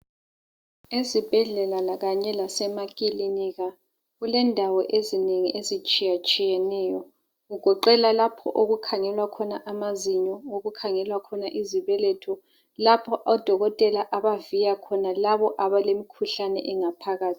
Ezibhedlela kanye lasemakilinika kulendawo ezinengi ezitshiyatshiyeneyo kugoqela lapho okukhangelwa khona amazinyo, okukhangelwa khona izibeletho lapho odokotela abaviya khona labo abale mkhuhlane engaphakathi.